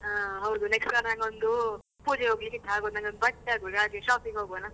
ಹಾ ಹೌದು next ವಾರ ನಂಗೊಂದು ಪೂಜೆ ಹೋಗ್ಲಿಕ್ಕಿತ್ತು ಹಾಗೆ ಆ ನಂಗೊಂದು ಬಟ್ಟೆ ಆಗ್ಬೇಕು ಹಾಗೆ shopping ಹೋಗುವನಾ?